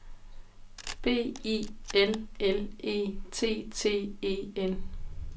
B I L L E T T E N